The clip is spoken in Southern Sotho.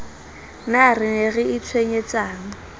na re ne re itshwenyetsang